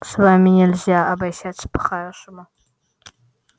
с вами нельзя обращаться по-хорошему